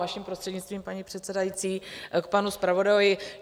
Vaším prostřednictvím, paní předsedající, k panu zpravodajovi.